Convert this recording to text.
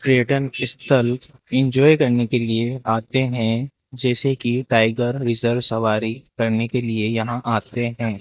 पर्यटन स्थल इंजॉय करने के लिए आते हैं जैसे कि टाइगर रिजर्व सवारी करने के लिए यहां आते हैं।